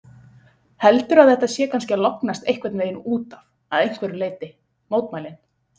Heldurðu að þetta sé kannski að lognast einhvern veginn útaf að einhverju leyti, mótmælin?